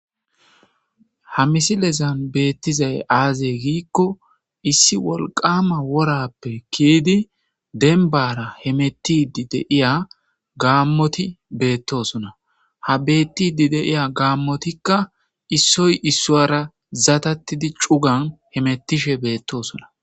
ha misilezan beettizay aazey giikko issi wolqama worappe kiydi denba hemettidi deiya gaammoti beettosona ha bettidi deiya gaammotikka issoy issowara zatattidi cugan hemettishe beettoosona